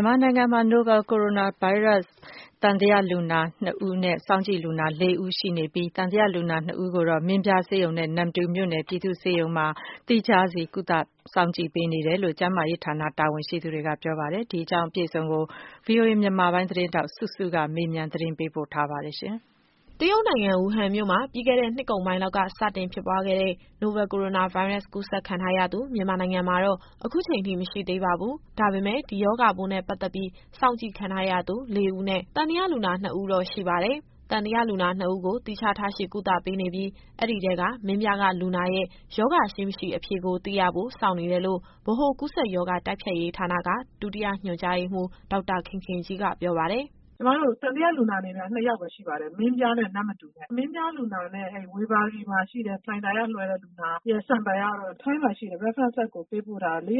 န်မာနိုင်ငံမှာ နိုဗယ်ကိုရိုနာဗိုင်းရပ်စ် သံသယလူနာ ၂ဦးနဲ့ စောင့်ကြည့်လူနာ ၅ဦးရှိနေပြီး၊ သံသယလူနာ ၂ဦးကို မင်းပြားဆေးရုံနဲ့ နမ္မတူမြို့နယ်ပြည်သူ့ဆေးရုံမှာ သီးခြားထားရှိကုသပေးနေတယ်လို့ ကျန်းမာရေးဌာနတာဝန်ရှိသူက ပြောပါတယ်။ အပြည့်အစုံကို ဗွီအိုအေမြန်မာပိုင်း သတင်းထောက်စုစုက မေးမြန်းပေးပို့ထားပါတယ်။ သံသယလူနာ နှစ်ဦးကို သီးခြားထားရှိကုသပေးနေပြီး၊ အဲဒီထဲက မင်းပြားကလူနာရဲ့ ရောဂါရှိ၊ မရှိ အဖြေကိုသိရဖို့ စောင့်နေတယ်လို့ ဗဟိုကူးစက်ရောဂါ တိုက်ဖျက်ရေးဌာနက ဒုတိယညွှန်ကြားရေးမှူး ဒေါက်တာခင်ခင်ကြီးက ပြောပါတယ်။ “ကျမတို့ သံသယလူနာအနေနဲ့ကတော့ ၂ယောက်ပဲ ရှိပါတယ်။ မင်းပြားနဲ့ နမ္မတူနဲ့။ မင်းပြားလူနာနဲ့ ဝေဘာဂီမှာရှိတဲ့ လှိုင်သာယာကလွှဲတဲ့ လူနာရဲ့ sample ကတော့ ထိုင်းမှာရှိတဲ့ references ကို ၄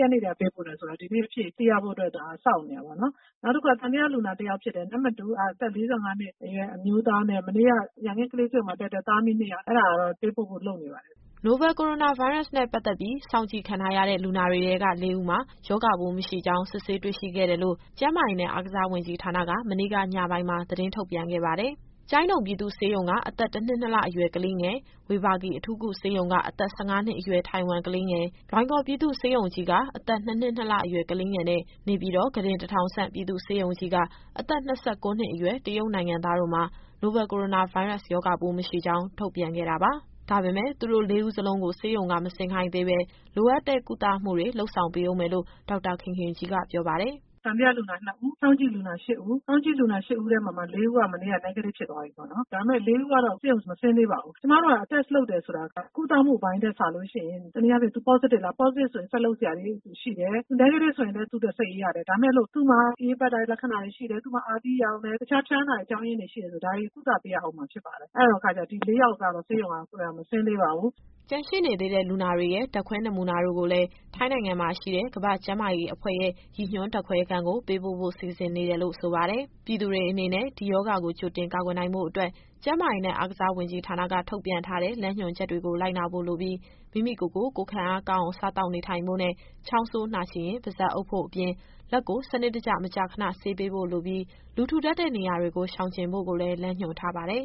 ရက်နေ့တည်းက ပေးပို့ထားတယ်ဆိုတော့ ဒီနေ့အဖြေသိရဖို့အတွက် ဒါကိုစောင့်နေတာပေါ့နော်။ နောက်တခုက သံသယလူနာ တယောက်ဖြစ်တဲ့ နမ္မတူက အသက် ၄၅နှစ်အရွယ် အမျိုးသားနဲ့ မနေ့က ရန်ကင်းကလေးဆေးရုံက လွှဲလိုက်တဲ့ သားအမိနှစ်ယောက်။ အဲဒါကတော့ ပေးပို့ဖို့လုပ်နေပါတယ်။” နိုဗယ်ကိုရိုနာဗိုင်းရပ်စ်နဲ့ ပတ်သက်ပြီး စောင့်ကြည့်ခံထားရတဲ့ လူနာတွေထဲက ၄ဦးမှာ ရောဂါပိုးမရှိကြောင်း စစ်ဆေးတွေ့ရှိခဲ့တယ်လို့ ကျန်းမာရေးနဲ့ အားကစားဝန်ကြီးဌာနက မနေ့ကညပိုင်းမှာ သတင်းထုတ်ပြန်ခဲ့ပါတယ်။ ကျိုင်းတုံပြည်သူ့ဆေးရုံက အသက် ၁နှစ် ၂လအရွယ် ကလေးငယ်၊ ဝေဘာဂီအထူးကုဆေးရုံက အသက် ၁၅နှစ်အရွယ် ထိုင်ဝမ်ကလေးငယ်၊ လွိုင်ကော်ပြည်သူ့ဆေးရုံကြီးက အသက် ၂နှစ် ၂လအရွယ်ကလေးငယ်နဲ့ နေပြည်တော် ခုတင် ၁၀၀၀ဆံ့ ပြည်သူ့ဆေးရုံကြီးက အသက် ၂၉နှစ်အရွယ် တရုတ်နိုင်ငံသား တို့မှာ နိုဗယ်ကိုရိုနာဗိုင်းရပ်စ် ရောဂါပိုးမရှိကြောင်း ထုတ်ပြန်ခဲ့တာပါ။ ဒါပေမယ့် သူတို့လေးဦးစလုံးကို ဆေးရုံကမဆင်းခိုင်းသေးဘဲ လိုအပ်တဲ့ကုသမှုတွေ လုပ်ဆောင်ပေးဦးမယ်လို့ ဒေါက်တာခင်ခင်ကြီးက ပြောပါတယ်။ “သံသယလူနာ ၂ဦး၊ စောင့်ကြည့်လူနာ ၈ဦး၊ စောင့်ကြည့်လူနာ ၈ဦးထဲမှာမှ ၄ဦးက မနေ့က Negative ဖြစ်သွားပြီပေါ့နော်။ ဒါပေမယ့် အဲဒီ ၄ဦးကတော့ ဆေးရုံကမဆင်းသေးပါဘူး။ ကျမတို့ စစ်ဆေးတယ်ဆိုတာက ကုသမှုပိုင်းထက်စာလို့ရှိရင် တနည်းအားဖြင့် သူ Positive လား၊ Positive ဆိုရင် ဆက်လုပ်စရာတွေရှိတယ်။ သူ Negative ဆိုရင်လည်း သူ့အတွက်စိတ်အေးရတယ်။ ဒါပေမယ့်လို့ သူ့မှာ အအေးပတ်တဲ့ လက္ခဏာတွေရှိတယ်၊ အာသီးရောင်တယ်၊ တခြားဖျားနာတဲ့ အကြောင်းအရင်းတွေ ရှိတယ်ဆို ဒါတွေကိုကုသပေးရဦးမှာ ဖြစ်ပါတယ်။ အဲဒီတော့ ဒီ ၄ယောက်ကတော့ ဆေးရုံမဆင်းသေးပါဘူး။” ကျန်ရှိနေသေးတဲ့ လူနာတွေရဲ့ ဓာတ်ခွဲနမူနာတို့ကိုလည်း ထိုင်းနိုင်ငံမှာရှိတဲ့ ကမ္ဘာ့ကျန်းမာရေးအဖွဲ့ရဲ့ ရည်ညွှန်းဓာတ်ခွဲခန်းကို ပေးပို့ဖို့စီစဉ်နေတယ်လို့ ဆိုပါတယ်။ ပြည်သူတွေအနေနဲ့ ဒီရောဂါကိုကြိုတင် ကာကွယ်နိုင်ဖို့အတွက် ကျန်းမာရေးနဲ့ အားကစား ဝန်ကြီးဌာနက ထုတ်ပြန်ထားတဲ့လမ်းညွှန်ချက်တွေကို လိုက်နာဖို့လိုပြီး၊ မိမိကိုယ်ကိုယ် ကိုယ်ခံအားကောင်းအောင် စားသောက်နေထိုင်ဖို့နဲ့ ချောင်းဆိုး၊ နှာချေရင် ပါးစပ်အုပ်ဖို့အပြင် လက်ကိုစနစ်တကျ မကြာခဏဆေးဖို့လိုပြီး လူထူထပ်တဲ့နေရာတွေကို ရှောင်ကြဉ်ဖို့ကိုလည်း လမ်းညွှန်ထားပါတယ်